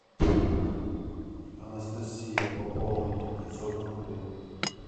анастасия пополнить пятьсот рублей